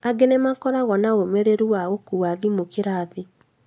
Angĩ nĩmakoragwo na ũũmĩrĩru wa gũũka na thimũ kĩrathi